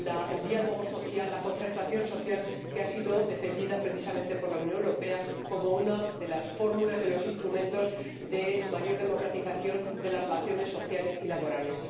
el diálogo social, la concertación social, que ha sido defendida, precisamente, por la Unión Europea como una de las fórmulas, de los instrumentos de mayor democratización de las relaciones sociales y laborales.